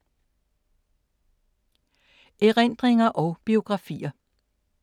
Erindringer og biografier